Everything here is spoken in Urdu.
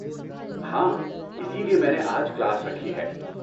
ہاں، اسی لیے میں نے آج کلاس رکھی ہے۔